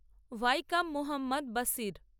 Vaikom Muhammad Basir